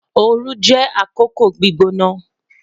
Ooru jẹ akoko gbigbona